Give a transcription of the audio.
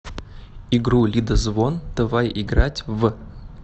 игру лидозвон давай играть в